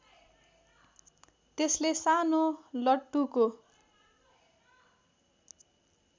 त्यसले सानो लट्टुको